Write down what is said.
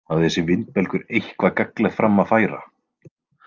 Hafði þessi vindbelgur eitthvað gagnlegt fram að færa?